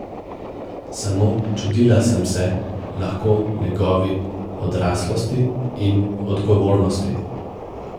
Samo čudila sem se lahko njegovi odraslosti in odgovornosti.